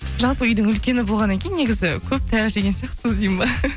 жалпы үйдің үлкені болғаннан кейін негізі көп таяқ жеген сияқтысыз дейін бе